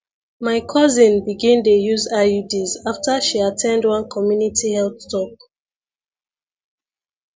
my cousin begin dey use iuds after she at ten d one community health talk